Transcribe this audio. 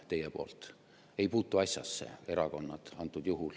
Praegusel juhul erakonnad ei puutu asjasse.